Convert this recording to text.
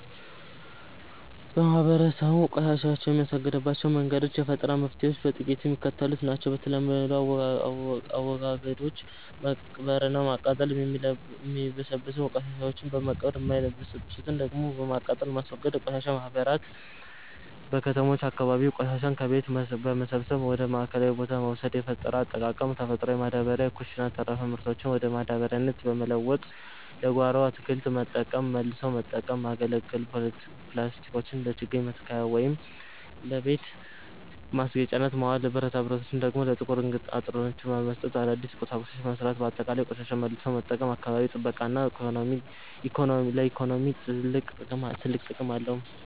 ማህበረሰቡ ቆሻሻን የሚያስወግድባቸው መንገዶችና የፈጠራ መፍትሔዎች በጥቂቱ የሚከተሉት ናቸው፦ የተለመዱ አወጋገዶች፦ መቅበርና ማቃጠል፦ የሚበሰብሱ ቆሻሻዎችን በመቅበር፣ የማይበሰብሱትን ደግሞ በማቃጠል ማስወገድ። የቆሻሻ ማህበራት፦ በከተሞች አካባቢ ቆሻሻን ከቤት በመሰብሰብ ወደ ማዕከላዊ ቦታ መውሰድ። የፈጠራ አጠቃቀም፦ ተፈጥሮ ማዳበሪያ፦ የኩሽና ተረፈ ምርቶችን ወደ ማዳበሪያነት በመለወጥ ለጓሮ አትክልት መጠቀም። መልሶ መጠቀም፦ ያገለገሉ ፕላስቲኮችን ለችግኝ መትከያ ወይም ለቤት ማስጌጫነት ማዋል፤ ብረታብረቶችን ደግሞ ለጥቁር አንጥረኞች በመስጠት አዳዲስ ቁሳቁሶችን መሥራት። ባጠቃላይ፣ ቆሻሻን መልሶ መጠቀም ለአካባቢ ጥበቃና ለኢኮኖሚ ትልቅ ጥቅም አለው።